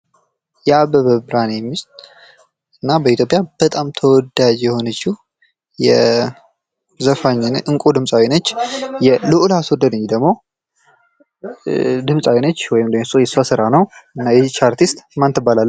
የአበበ ብርሄኔ ሚስት እና በኢትዮጵያ በጣም ተወዳጅ የሆነችው ድምጻዊ ነች። ልዑል አስወደደኝ የእሷ ስራ ነው። ይች አርቲስት ማን ትባላለች?